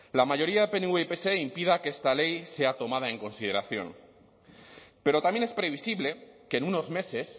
la mayoría pnv pse impida que esta ley sea tomada en consideración pero también es previsible que en unos meses